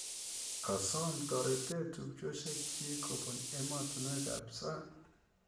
Kosom taretet tupchosiek chik kopun emostunwek ap sang